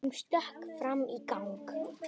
Hún stökk fram í gang.